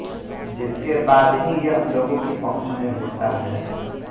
जिसके बाद ही यह लोगों की पहुँच में होता है